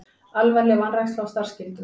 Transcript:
Alvarleg vanræksla á starfsskyldum